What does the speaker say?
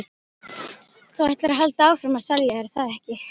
Þú ætlar að halda áfram að selja, er það ekki?